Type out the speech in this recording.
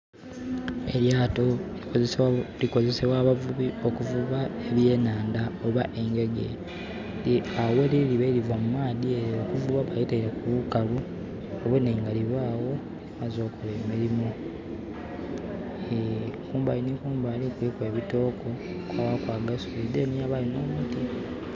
Eryato likozesebwa abavubi okuvuba ebyenanda oba engege. Awo weliri libaire liva mu maadhi eyo okuvuba. Balitaire ku lukalu babone nga libawo, limazze okola emirimu Eeh ..Kumbali ni kumbali kuliku ebitogo, kwa baaku agasubi then wabayo n' omuti